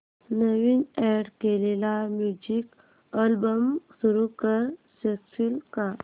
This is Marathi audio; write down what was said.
नवीन अॅड केलेला म्युझिक अल्बम सुरू करू शकशील का